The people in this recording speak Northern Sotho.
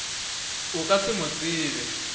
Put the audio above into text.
o ka se mo tsebe